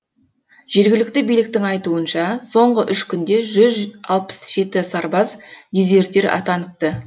жергілікті биліктің айтуынша соңғы үш күнде жүз алпыс жеті сарбаз дезертир атаныпты